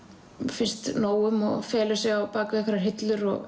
finnst nóg um felur sig á bak við einhverjar hillur og